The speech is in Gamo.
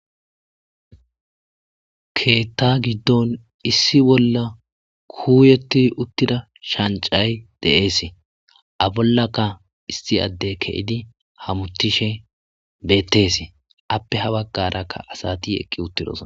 Keetta giddon issi bolla kuuyeti uttida shancay de7eese a bollaka isti adde ke7idi hamutishe bettes appe ha baggarakka asati eqqi uttidosa.